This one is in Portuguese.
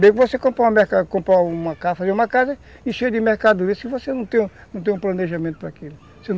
Bem que você compra comprar uma casa e cheia de mercadorias, você não tem um não tem planejamento para aquilo.